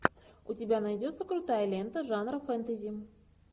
у тебя найдется крутая лента жанра фэнтези